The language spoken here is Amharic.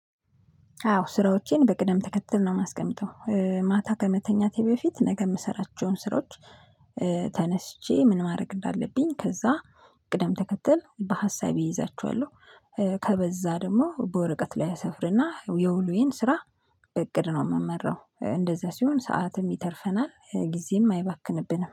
አዎ ስራዎቼን በቅደም ተከትል ነው የማስቀምጠው ማታ ከመተኛቴ በፊት ነገ የምሰራቸውን ስራዎች። ተነስቼ ምን ማድረግ እንዳለብኝ ከዛ ቅደም ተከተል በሀሳቤ እይዛችኋለሁ። ከበዛ ደግሞ በወረቀት ላይ አሰፍርና የውሎዬን ስራ። በእቅድ ነው የምመራው እንደዛ ሲሆን ሰዓትም ይተርፈናል ጊዜም አይባክንብንም